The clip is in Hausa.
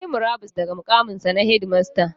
Ya yi murabus daga muƙaminsa na shedimasta.